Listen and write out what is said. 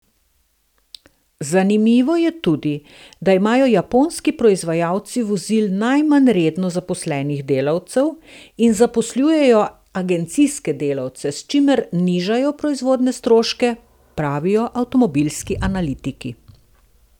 Zanimivo je tudi, da imajo japonski proizvajalci vozil najmanj redno zaposlenih delavcev in zaposlujejo agencijske delavce, s čimer nižajo proizvodnje stroške, pravijo avtomobilski analitiki.